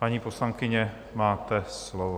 Paní poslankyně, máte slovo.